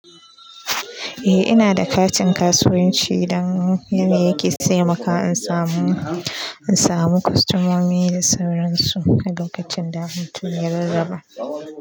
Eh ina da katin kasuwanci don yana taimakawa in samu, in samu kostomomi da sauransu a lokacin da hutun ya rarraba.